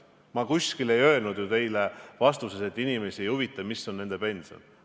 Ma ei öelnud oma vastuses, et inimesi ei huvita, kui suur on nende pension.